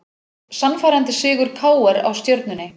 Sannfærandi sigur KR á Stjörnunni